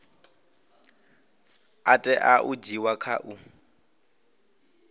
tea u dzhiiwa kha u